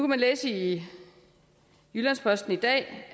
man læse i jyllands posten i dag